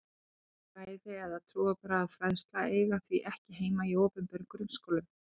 Kristin fræði eða trúarbragðafræðsla eigi því ekki heima í opinberum grunnskólum.